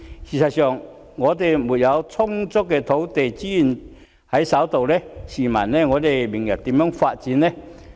事實上，本港如沒有充足的土地資源在手，試問明日如何發展呢？